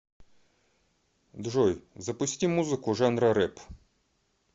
джой запусти музыку жанра рэп